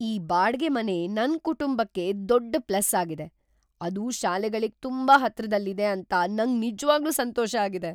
ಈ ಬಾಡ್ಗೆ ಮನೆ ನನ್ ಕುಟುಂಬಕ್ಕೆ ದೊಡ್ಡ ಪ್ಲಸ್ ಆಗಿದೆ. ಅದು ಶಾಲೆಗಳಿಗ್ ತುಂಬಾ ಹತ್ರದಲ್ಲಿದೆ ಅಂತ ನಂಗ್ ನಿಜ್ವಾಗ್ಲೂ ಸಂತೋಷ ಆಗಿದೆ.